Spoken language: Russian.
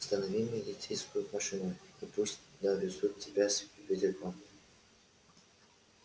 останови милицейскую машину и пусть довезут тебя с ветерком